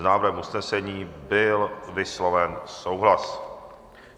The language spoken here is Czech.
S návrhem usnesení byl vysloven souhlas.